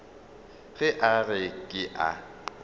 ge a re ke a